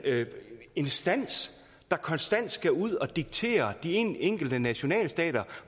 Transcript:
instans der konstant skal ud at diktere de enkelte nationalstater